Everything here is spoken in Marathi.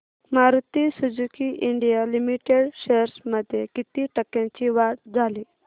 Maruti Suzuki India limited shares मध्ये किती टक्क्यांची वाढ झाली